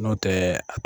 N'o tɛ